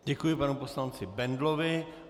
Děkuji panu poslanci Bendlovi.